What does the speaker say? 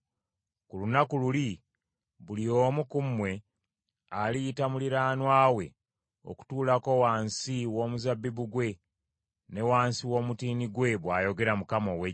“ ‘Ku lunaku luli, buli omu ku mmwe, aliyita muliraanwa we okutuulako wansi w’omuzabbibu gwe ne wansi w’omutiini gwe,’ bw’ayogera Mukama ow’Eggye.”